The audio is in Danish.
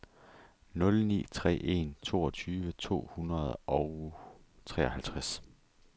nul ni tre en toogtyve to hundrede og treoghalvtreds